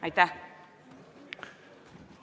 Aitäh!